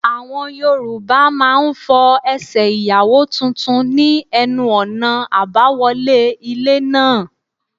Àwọn Yorùbá máa fọ Ẹsẹ̀ Ìyàwó tuntun ní ẹnu ọ̀nà àbáwọlé ilé náà.